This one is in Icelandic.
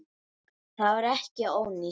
Það var ekki ónýtt.